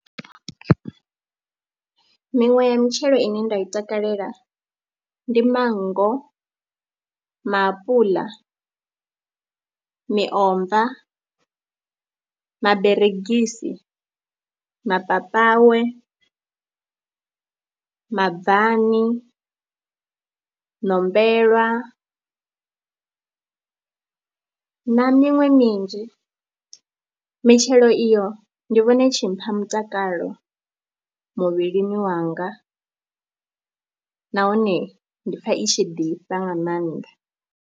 Miṅwe ya mitshelo ine nda i takalela ndi mango, maapuḽa, miomva, maberegisi, mapapawe, mabvani, ṋombellwa na miṅwe minzhi. Mitshelo iyo ndi vhona i tshi mpha mutakalo muvhilini wanga nahone ndi pfha i tshi ḓifha nga maanḓa.